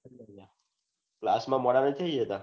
class માં મોડા નથી જતા